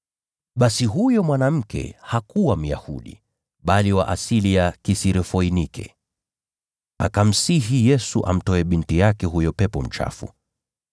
Basi huyo mwanamke alikuwa Myunani, aliyezaliwa Foinike ya Siria. Akamsihi Yesu amtoe binti yake huyo pepo mchafu.